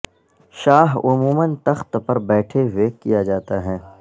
شاہ عموما تخت پر بیٹھے ہوئے کیا جاتا ہے